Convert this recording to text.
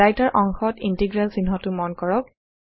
writer অংশত integral চিহ্নটো মন কৰক